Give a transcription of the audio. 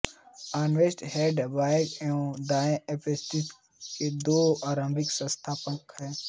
Ernest Haeckel बायें एवं दाएं पारिस्थितिकी के दो आरंभिक संस्थापक